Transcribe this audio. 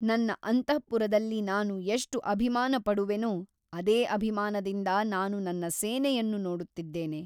ನನ್ನ ಅಂತಃಪುರದಲ್ಲಿ ನಾನು ಎಷ್ಟು ಅಭಿಮಾನಪಡುವೆನೋ ಅದೇ ಅಭಿಮಾನದಿಂದ ನಾನು ನನ್ನ ಸೇನೆಯನ್ನು ನೋಡುತ್ತಿದ್ದೇನೆ.